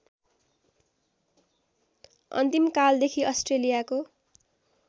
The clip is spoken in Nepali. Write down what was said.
अन्तिम कालदेखि अस्ट्रेलियाको